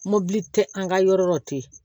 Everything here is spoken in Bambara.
Mobili tɛ an ka yɔrɔ tɛ yen